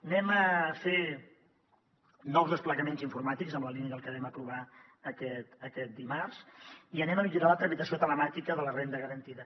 farem nous desplegaments informàtics en la línia del que vam aprovar aquest dimarts i millorarem la tramitació telemàtica de la renda garantida